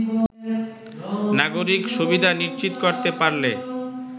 নাগরিক সুবিধা নিশ্চিত করতে পারলে